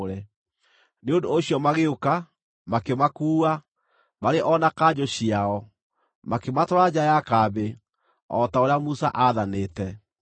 Nĩ ũndũ ũcio magĩũka, makĩmakuua, marĩ o na kanjũ ciao, makĩmatwara nja ya kambĩ, o ta ũrĩa Musa aathanĩte.